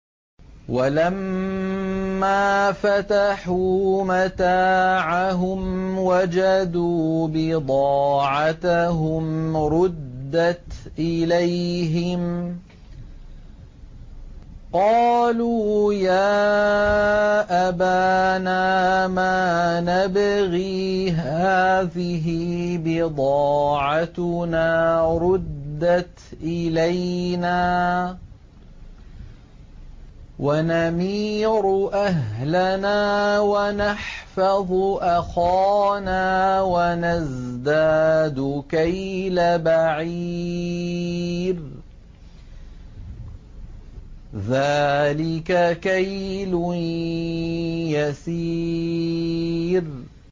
وَلَمَّا فَتَحُوا مَتَاعَهُمْ وَجَدُوا بِضَاعَتَهُمْ رُدَّتْ إِلَيْهِمْ ۖ قَالُوا يَا أَبَانَا مَا نَبْغِي ۖ هَٰذِهِ بِضَاعَتُنَا رُدَّتْ إِلَيْنَا ۖ وَنَمِيرُ أَهْلَنَا وَنَحْفَظُ أَخَانَا وَنَزْدَادُ كَيْلَ بَعِيرٍ ۖ ذَٰلِكَ كَيْلٌ يَسِيرٌ